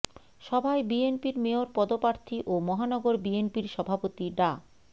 সভায় বিএনপির মেয়র পদপ্রার্থী ও মহানগর বিএনপির সভাপতি ডা